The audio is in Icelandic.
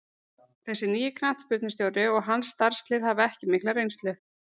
Þessi nýi knattspyrnustjóri og hans starfslið hafa ekki mikla reynslu.